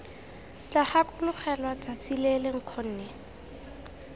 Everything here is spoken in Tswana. tla gakologelwa tsatsi lele nkgonne